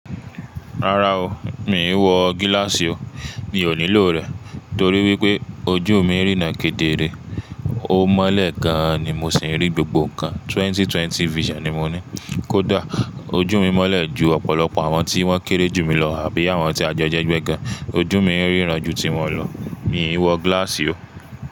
Rárá o, mi ò wọ gíláàsì o. Mi ò nílò rẹ̀ torí wípé ojú mi ń rí nà kedere. Ó mọ́lẹ̀ gan an ni mo sì ń rí gbogbo ńkan. Twenty-twenty vision ni mo ní. Kódà ojú mi mọ́lẹ̀ ju ọ̀pọ̀lọpọ̀ àwọn tí wọ́n kéré jù mí lọ àbí àwọn tí a jọ hẹ ẹ̀gbẹ́ gan. Ojú mi ń rí ran ju tiwọn lọ. Mi ò wọ gíláàsì o.